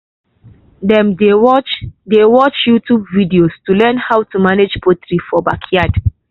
dem dey watch dey watch youtube videos to learn how to manage poultry for backyard.